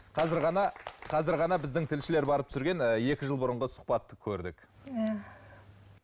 қазір ғана қазір ғана біздің тілшілер барып түсірген ы екі жыл бұрынғы сұхбатты көрдік иә